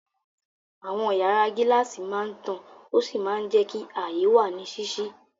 Àwọn yàrá gíláàsì máa ń tàn ó sì máa ń jẹ́ kí ààyè wà ní ṣíṣí.